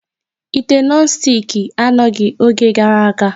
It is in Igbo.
Ite nọn stiki anọghị n'oge gara aga.